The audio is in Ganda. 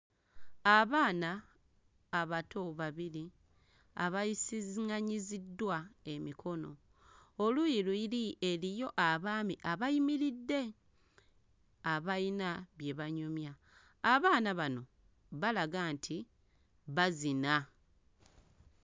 Abaana abato babiri abayisiziŋŋanyiddwa emikono. Oluuyi luli eriyo abaami abayimiridde abayina bye banyumya. Abaana bano balaga nti bazina.